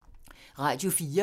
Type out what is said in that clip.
Radio 4